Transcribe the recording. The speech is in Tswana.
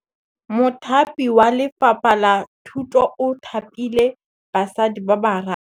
Mothapi wa Lefapha la Thutô o thapile basadi ba ba raro.